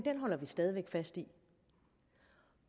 holder vi stadig væk fast i